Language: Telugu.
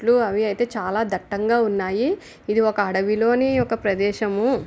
ట్లు అవి అయితే చాలా దట్టంగా ఉన్నాయి ఇది ఒక అడవిలోని ఒక ప్రదేశము.